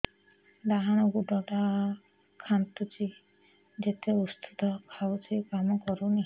ଡାହାଣ ଗୁଡ଼ ଟା ଖାନ୍ଚୁଚି ଯେତେ ଉଷ୍ଧ ଖାଉଛି କାମ କରୁନି